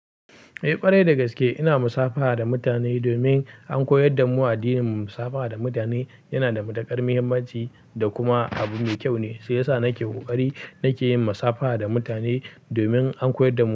Eh ƙwarai da gaske ina musafaha da mutane domin an koyar damu addinin mu musafaha da mutane yana da matuƙar muhimmanci da kuma abu mai kyau ne. Su yasa nake ƙoƙari nake yin musafaha da mutane domin an koyar damu.